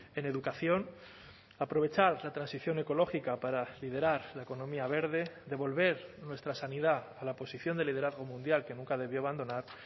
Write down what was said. en educación aprovechar esa transición ecológica para liderar la economía verde devolver nuestra sanidad a la posición de liderazgo mundial que nunca debió abandonar